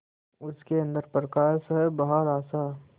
उसके अंदर प्रकाश है बाहर आशा